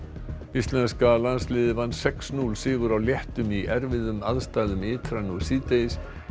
íslenska landsliðið vann sex til núll sigur á lettum í erfiðum aðstæðum ytra nú síðdegis